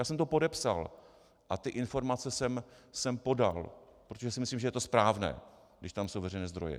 Já jsem to podepsal a ty informace jsem podal, protože si myslím, že to je správné, když tam jsou veřejné zdroje.